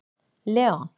Leon